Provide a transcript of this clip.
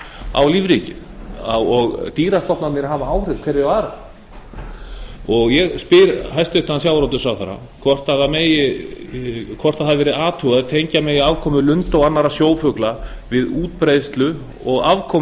á lífríkið og dýrastofnarnir hafa áhrif hverjir á aðra ég spyr hæstvirtur sjávarútvegsráðherra hefur verið athugað hvort tengja megi afkomu lunda og annarra sjófugla við útbreiðslu og afkomu